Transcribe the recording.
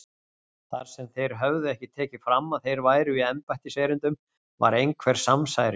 Þar sem þeir höfðu ekki tekið fram að þeir væru í embættiserindum var einhver samsæris